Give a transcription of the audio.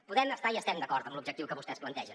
podem estar i estem d’acord amb l’objectiu que vostès plantegen